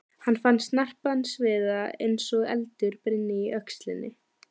Hann fann snarpan sviða eins og eldur brynni í öxlinni.